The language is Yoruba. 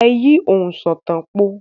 Ẹ yí òǹsọ̀tàn po!